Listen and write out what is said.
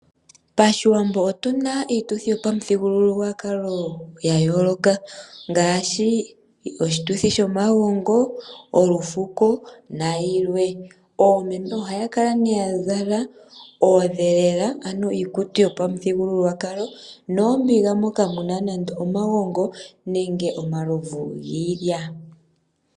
Pashiwambo otuna iituthi yopamuthigululwakalo yayooloka ngaashi oshituthi shomagongo, olufuko nayilwe. Oomeme ohaya kala nee yazala oondhelela ano iikutu yopamuthigululwakalo noombiga moka muna nande omagongo nenge omalovu giilya.